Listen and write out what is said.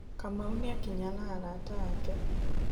Kamau nĩakinya na arata ake.